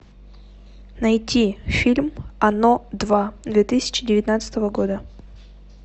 найти фильм оно два две тысячи девятнадцатого года